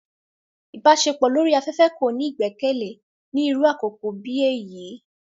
Ìbaṣepọ lori afẹfẹ ko ni igbẹkẹle ni iru àkókó bi eyi.